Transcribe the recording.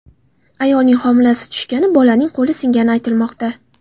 Ayolning homilasi tushgani, bolaning qo‘li singani aytilmoqda.